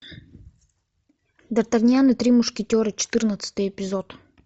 д артаньян и три мушкетера четырнадцатый эпизод